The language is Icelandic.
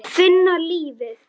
Finna lífið.